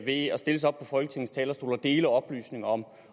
ved at stille sig op på folketingets talerstol og dele oplysninger om